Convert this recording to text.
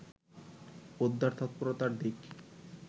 উদ্ধার তৎপরতার দিক